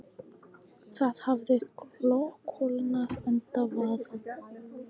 Það hafði kólnað enda var spáð næturfrosti.